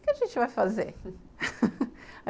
O que a gente vai fazer?